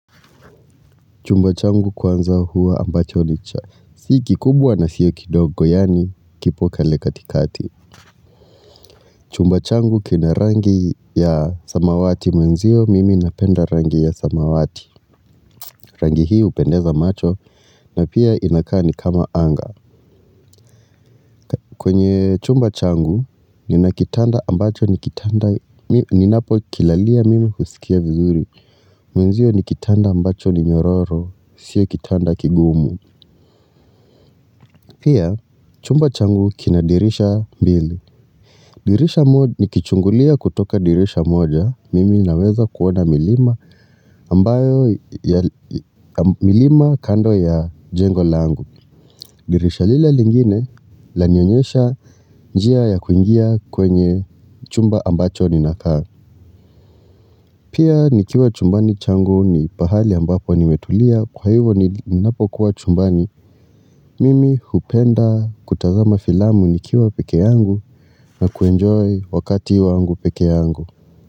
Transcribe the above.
Chumba changu kwanza huwa ambacho ni cha. Si kikumbwa na sio kindogo yaani kiko pale katikati. Chumba changu kina rangi ya samawati mwenzio mimi napenda rangi ya samawati. Rangi hii hupendeza macho na pia inakaa ni kama anga. Kwenye chumba changu, nina kitanda ambacho ni kitanda, ni napo kilalia mimi husikia vizuri, mwenzio ni kitanda ambacho ni nyororo, sio kitanda kigumu. Pia, chumba changu kina dirisha mbili. Dirisha moja, ni kichungulia kutoka dirisha moja, mimi naweza kuona milima ambayo ya milima kando ya jengo langu. Dirisha lile lingine la nionyesha njia ya kuingia kwenye chumba ambacho ni nakaa. Pia nikiwa chumbani changu ni pahali ambapo nimetulia kwa hivo ni napokuwa chumbani. Mimi hupenda kutazama filamu nikiwa peke yangu na kuenjoy wakati wangu peke yangu.